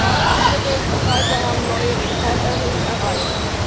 Die Nahrungsmittelpreise haben neue Rekordhöhen erreicht.